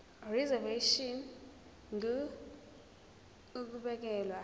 reservation ngur ukubekelwa